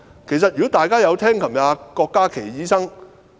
其實，如果大家昨天有聽郭家麒醫生......